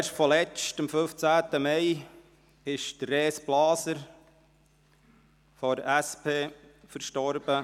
Erst kürzlich, am 15. Mai, ist Res Blaser, SP, verstorben.